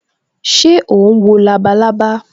Ṣé o ń wo labalábá